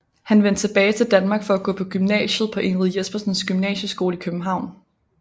Han vendte tilbage til Danmark for at gå på gymnasiet på Ingrid Jespersens Gymnasieskole i København